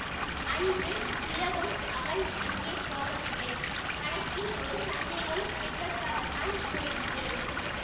அன்று இரவும் அவன் அங்கே போகவில்லை கணக்கில் ஒரு சந்தேகம் கேட்பதற்காகத் தான் போயிருந்தேன்